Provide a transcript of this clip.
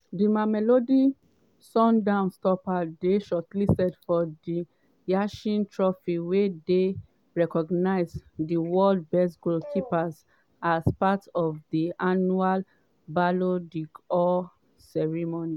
di mamelodi sundowns stopper dey shortlisted for di yashin trophy wey dey recognise di world best goalkeepers as part of di annual ballon d'or ceremony.